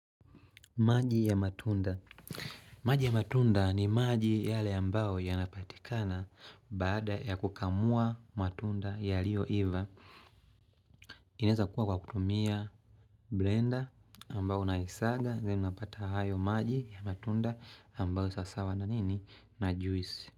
Maji ya matunda maji ya matunda ni maji yale ambao ya napatikana. Bada ya kukamua matunda ya liyo iva. Ineza kuwa kwa kutumia blender. Ambao na isaga Zeni napata hayo maji ya matunda. Ambao sasawa na nini na juisi.